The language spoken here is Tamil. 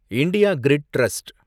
India grid trust